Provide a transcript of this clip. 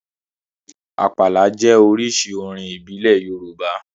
Àpàlà jẹ́ oríṣi orin ìbílẹ̀ Yorùbá.